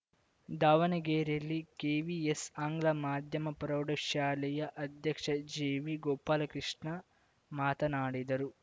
ದಾವಣಗೆರೆಯಲ್ಲಿ ಕೆವಿಎಸ್‌ ಆಂಗ್ಲ ಮಾಧ್ಯಮ ಪ್ರೌಢಶಾಲೆಯ ಅಧ್ಯಕ್ಷ ಜೆವಿಗೋಪಾಲಕೃಷ್ಣ ಮಾತನಾಡಿದರು